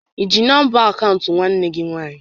I ji nọmba akaụntụ nwanne gị nwaanyị?